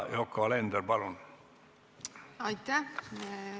Yoko Alender, palun!